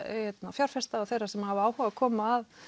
fjárfesta og þeirra sem hafa áhuga að koma að